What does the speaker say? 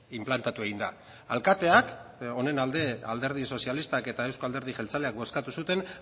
inplantatu egin da alkateak honen alde alderdi sozialistak eta euzko alderdi jeltzaleak bozkatu zuten